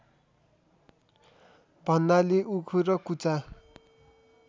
भन्नाले उखु र कुचा